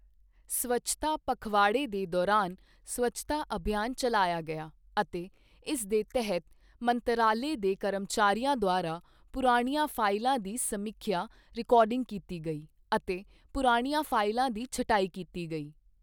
ਸਵੱਛਤਾ ਪਖਵਾੜੇ ਦੇ ਦੌਰਾਨ ਸਵੱਛਤਾ ਅਭਿਯਾਨ ਚਲਾਇਆ ਗਿਆ ਅਤੇ ਇਸ ਦੇ ਤਹਿਤ ਮੰਤਰਾਲੇ ਦੇ ਕਰਮਚਾਰੀਆਂ ਦੁਆਰਾ ਪੁਰਾਣੀਆਂ ਫਾਈਲਾਂ ਦੀ ਸਮੀਖਿਆ ਰਿਕਾਰਡਿੰਗ ਕੀਤੀ ਗਈ ਅਤੇ ਪੁਰਾਣੀਆਂ ਫਾਈਲਾਂ ਦੀ ਛਟਾਈ ਕੀਤੀ ਗਈ।